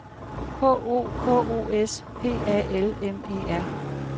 K O K O S P A L M E R